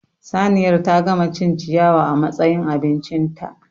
Saniyar ta gama cin ciyawa a matsayin abincinta